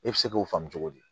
E bɛ se k'o faamu cogo di